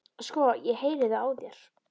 Sko, ég heyri það á þér